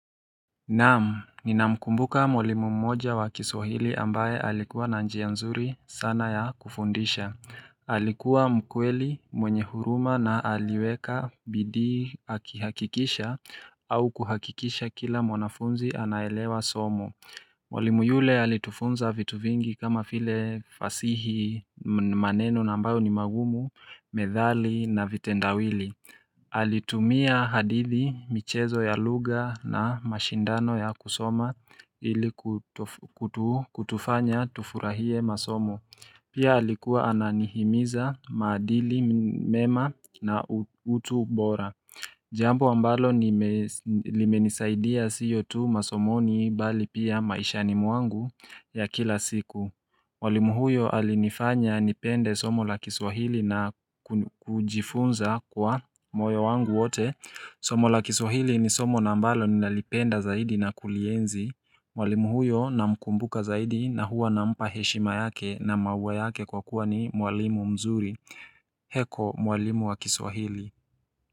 Naam, ninamkumbuka mwalimu mmoja wa kiswahili ambaye alikuwa na njia nzuri sana ya kufundisha Alikuwa mkweli mwenye huruma na aliweka bidii akihakikisha au kuhakikisha kila mwanafunzi anaelewa somo Mwalimu yule alitufunza vitu vingi kama vile fasihi maneno nambayo ni magumu, methali na vitendawili Alitumia hadithi michezo ya lugha na mashindano ya kusoma ili kutufanya tufurahie masomo Pia alikuwa ananihimiza madili mema na utu bora Jambo ambalo limenisaidia siyo tu masomoni bali pia maishani mwangu ya kila siku mwalimu huyo alinifanya nipende somo la kiswahili na kujifunza kwa moyo wangu wote Somo la kiswahili ni somo naambalo ninalipenda zaidi na kulienzi walimu huyo na mkumbuka zaidi na huwa na mpa heshima yake na maua yake kwa kuwa ni mwalimu mzuri Heko mwalimu wa kiswahili.